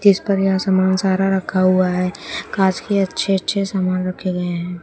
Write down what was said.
इस पर यह सामान सारा रखा हुआ है कांच के अच्छे अच्छे सामान रखे गए हैं।